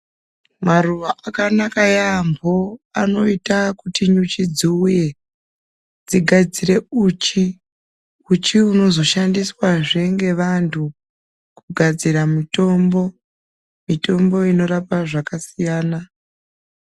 Maruwa akanaka yambo anoita kuti nyuchi dziuye dzigadzire uchi, uchi unozoshandiswazve ngevandu kugadzira mutombo mutombo inorape zvakasiyana siyana.